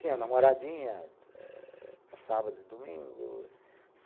Tinha namoradinha, para sábado e domingo.